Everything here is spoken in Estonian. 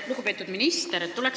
Lugupeetud minister!